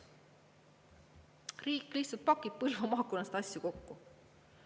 Riik lihtsalt pakib Põlva maakonnast asju kokku.